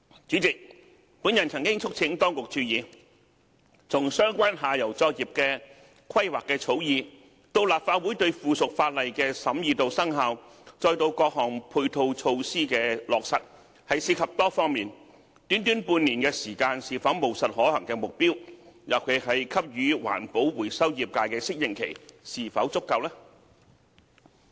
主席，我曾促請當局注意，從相關下游作業的規劃的草擬、立法會對附屬法例的審議和生效，至到各項配套措施的落實，涉及多方面的問題，短短半年的時間是否務實可行的目標，尤其是給予環保回收業界的適應期是否足夠？